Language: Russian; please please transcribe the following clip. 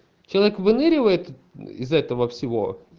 человек выныривает из этого всего